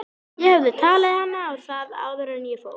Má vænta þess að þeim verði framlengt?